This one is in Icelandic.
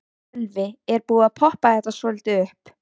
Sölvi: Er búið að poppa þetta svolítið upp?